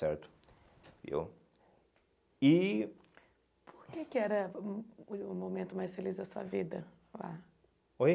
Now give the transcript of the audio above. certo, viu, e Por que que era o o momento mais feliz da sua vida, lá? Oi